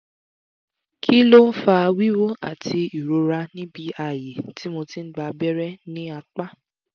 kih ló ń fa wíwú àti ìrora níbi ààyè tí mo ti gba abẹ́rẹ́ ní apá?